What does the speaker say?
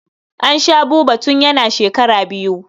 An sha Buba tun yana shekara biyu.